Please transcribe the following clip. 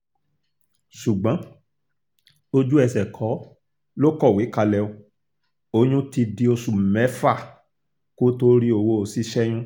ṣùgbọ́n ojú ẹsẹ̀ kọ́ lo kọwọ́ kalẹ̀ ó oyún ti di oṣù mẹ́fà kó tóó rí owó ṣíṣẹ́yún